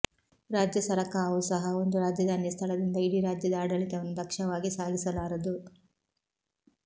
ರಾಜ್ಯ ಸರಕಾವು ಸಹ ಒಂದು ರಾಜಧಾನಿಯ ಸ್ಥಳದಿಂದ ಇಡಿ ರಾಜ್ಯದ ಆಡಳಿತವನ್ನು ದಕ್ಷವಾಗಿ ಸಾಗಿಸಲಾರದು